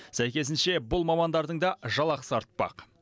сәйкесінше бұл мамандардың да жалақысы артпақ